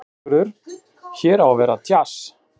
Sigurður: Hér á að vera djass?